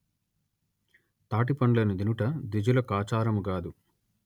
తాటి పండ్లను దినుట ద్విజులకాచారము గాదు